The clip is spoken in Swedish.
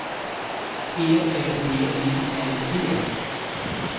E L V I N G